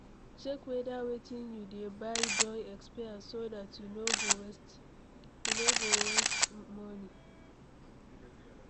Check weda wetin you dey buy don expire so dat you no go waste money